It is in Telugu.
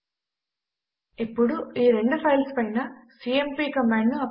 అందులో this is a Unix file to test the cmp command